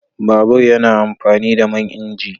Babur yana amfani da man inji